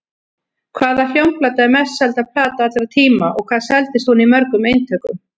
Hvaða hljómplata er mest selda plata allra tíma og hvað seldist hún í mörgum eintökum?